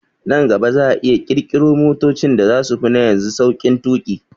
Nan gaba za'a iya ƙirƙiro motocin da zasu fi na yanzu sauƙin tuƙi